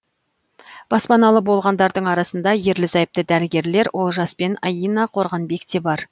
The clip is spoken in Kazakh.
баспаналы болғандардың арасында ерлі зайыпты дәрігерлер олжас пен аина қорғанбек те бар